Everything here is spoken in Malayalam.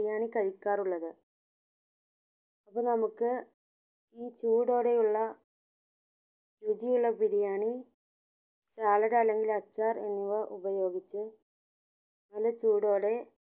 ബിരിയാണി കഴിക്കാറുള്ളത് അപ്പൊ നമ്മുക് ഈ ചൂടോടെയുള്ള രുചി ഉള്ള ബിരിയാണി സാലഡ് അല്ലെങ്കിൽ അച്ചാർ എന്നിവ ഉപയോഗിച്ച് നല്ല ചൂടോടെ